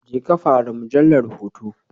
Jeka fara mujallar hoto.